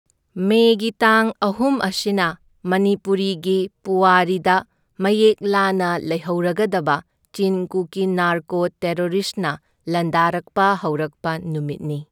ꯃꯦꯒꯤ ꯇꯥꯡ ꯑꯍꯨꯝ ꯑꯁꯤꯅ ꯃꯅꯤꯄꯨꯔꯤꯒꯤ ꯄꯣꯋꯥꯔꯤꯗ ꯃꯌꯦꯛ ꯂꯥꯅ ꯂꯩꯍꯧꯔꯒꯗꯕ ꯆꯤꯟ ꯀꯨꯀꯤ ꯅꯥꯔꯀꯣ ꯇꯦꯔꯣꯔꯤꯁꯅ ꯂꯥꯟꯗꯥꯔꯛꯄ ꯍꯧꯔꯛꯄ ꯅꯨꯃꯤꯠꯅꯤ꯫